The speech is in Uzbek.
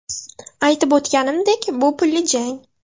Aytib o‘tganimdek, bu pulli jang.